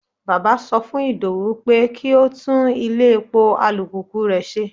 Bàbá sọ fún Idowu pé kí ó tún ilé-epo alùpùpù rẹ̀ ṣe.